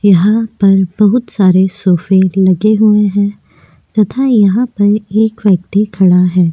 यहां पर बहुत सारे सोफ़े लगे हुए हैं तथा यहाँ पर एक व्यक्ति खड़ा है।